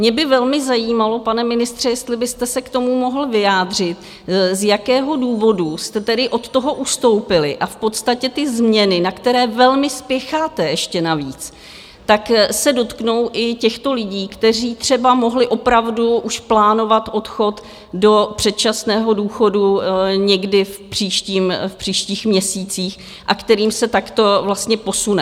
Mě by velmi zajímalo, pane ministře, jestli byste se k tomu mohl vyjádřit, z jakého důvodu jste tedy od toho ustoupili, a v podstatě ty změny, na které velmi spěcháte, ještě navíc, tak se dotknou i těchto lidí, kteří třeba mohli opravdu už plánovat odchod do předčasného důchodu někdy v příštích měsících a kterým se takto vlastně posune?